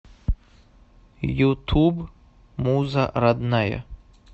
ютуб муза родная